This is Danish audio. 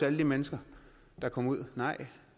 alle de mennesker der kom ud nej